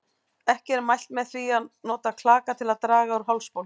Ekki er mælt með því að nota klaka til að draga úr hálsbólgu.